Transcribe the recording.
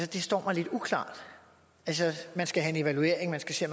det står mig lidt uklart man skal have en evaluering man skal se